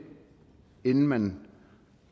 inden man